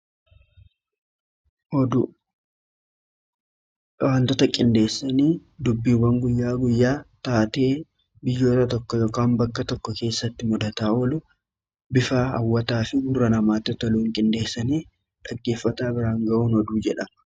Waantoota qindeessanii dubbiiwwan guyyaa guyyaa taatee biyyoota tokko yookiin bakka tokko keessatti mudataa oolu bifa hawwataa fi gurra namaatti toluun qindeessanii dhaggeeffata biraan ga'uun oduu jedhama.